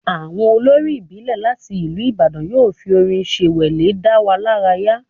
Àwọn olórin ìbílẹ̀ láti ìlú Ìbàdàn yóò fi orin ṣẹnwẹlẹ dá wa lára yá